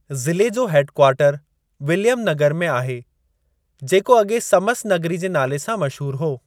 ज़िले जो head quarter Williamnagar में आहे, जेको अॻे समसनगरी जे नाले सां मशहूरु हो।